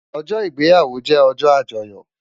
Òjò igbéyàwó jè òjò ájòyò